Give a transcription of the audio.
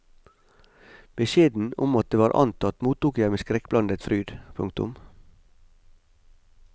Beskjeden om at det var antatt mottok jeg med skrekkblandet fryd. punktum